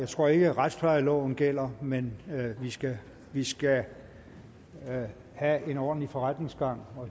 tror ikke at retsplejeloven gælder men vi skal vi skal have en ordentlig forretningsgang